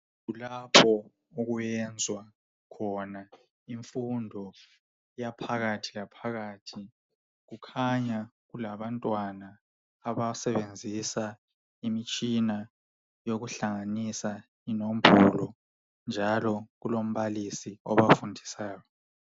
Kulapho okuyenzwa khona imfundo yaphakathi laphakathi. Kukhanya kulabantwana abasenzisa imitshina yokuhlanganisa inombolo. Njalo kulombalisi obafundisayo.